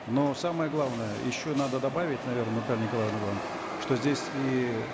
но самое главное еще надо добавить наверно наталья николаевна вам что здесь и